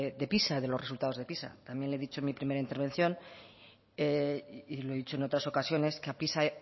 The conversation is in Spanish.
pisa de los resultados de pisa también le he dicho en mi primera intervención y lo he dicho en otras ocasiones que a pisa